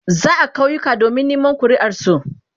za'a kauyuka domin a nema kuriar su